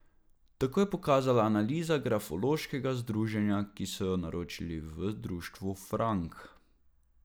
Tako je pokazala analiza grafološkega združenja, ki so jo naročilu v društvu Frank.